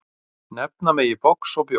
Nefna megi box og bjór.